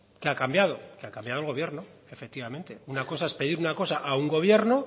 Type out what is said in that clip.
qué ha cambiado que ha cambiado el gobierno efectivamente una cosa es pedir una cosa a un gobierno